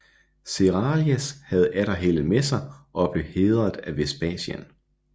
Cerialis havde atter heldet med sig og blev hædret af Vespasian